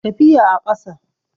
tafiya a ƙasa